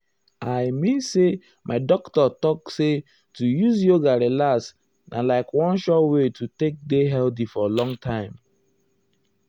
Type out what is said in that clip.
i um mean say my doctor talk say to use yoga relax na like one sure wey to take dey healthy for long time.